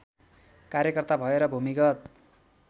कार्यकर्ता भएर भूमिगत